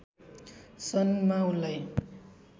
सन् मा उनलाई